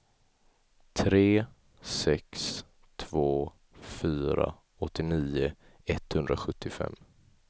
tre sex två fyra åttionio etthundrasjuttiofem